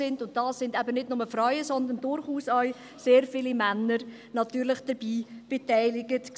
Daran waren natürlich nicht nur Frauen, sondern durchaus sehr viele Männer beteiligt.